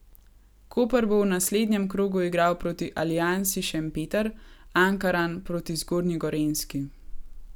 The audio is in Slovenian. Koper bo v naslednjem krogu igral proti Aliansi Šempeter, Ankaran proti Zgornji Gorenjski.